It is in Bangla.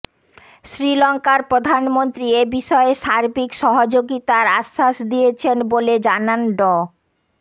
শ্রীলঙ্কার প্রধানমন্ত্রী এ বিষয়ে সার্বিক সহযোগিতার আশ্বাস দিয়েছেন বলে জানান ড